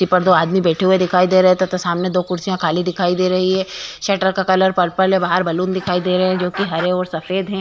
की पर दो आदमी बैठे हुए दिखाई दे रहे हैं तथा सामने दो कुर्सियाँ खाली दिखाई दे रहे हैं। शटर का कलर पर्पल है। बाहर बलून दिखाई दे रहे हैं जो कि हरे और सफ़ेद हैं।